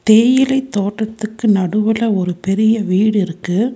தேயிலை தோட்டத்துக்கு நடுவுல ஒரு பெரிய வீடு இருக்கு.